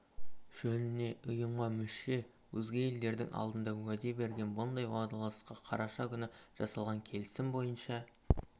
жөніне ұйымға мүше өзге елдердің алдында уәде берген бұндай уағдаластыққа қарашы күні жасалған келісім бойынша